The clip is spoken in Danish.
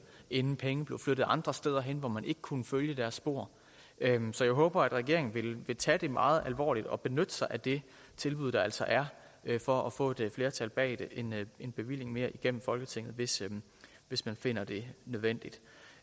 inden pengene blevet flyttet andre steder hen hvor man ikke kunne følge deres spor så jeg håber regeringen vil tage det meget alvorligt og benytte sig af det tilbud der altså er for at få et flertal bag en bevilling mere igennem folketinget hvis hvis man finder det nødvendigt